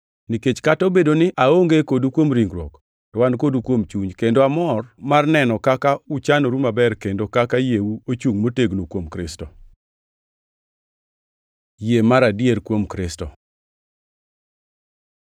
Nikech kata obedo ni aonge kodu kuom ringruok, to an kodu kuom chuny, kendo amor mar neno kaka uchanoru maber kendo kaka yieu ochungʼ motegno kuom Kristo. Yie mar adier kuom Kristo